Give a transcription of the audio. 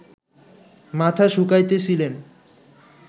মাথা শুকাইতেছিলেন